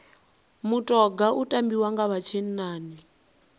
mutoga u tambiwa nga vha tshinnani